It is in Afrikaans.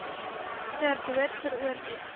ter dood veroordeel